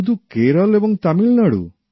শুধু কেরল এবং তামিলনাড়ু